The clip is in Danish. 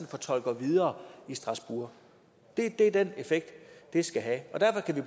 fortolker videre i strasbourg det er den effekt det skal have og derfor kan vi